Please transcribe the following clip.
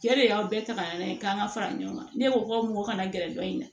Cɛ de y'aw bɛɛ ta ka na n'a ye k'an ka fara ɲɔgɔn kan ne ko k'aw ma na gɛrɛ dɔ in na